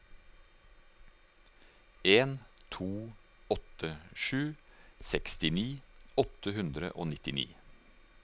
en to åtte sju sekstini åtte hundre og nittini